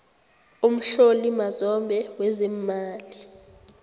umhloli mazombe wezeemali